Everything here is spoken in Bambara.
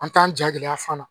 An t'an ja gɛlɛya fana